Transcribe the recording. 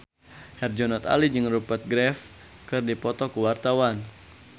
Herjunot Ali jeung Rupert Graves keur dipoto ku wartawan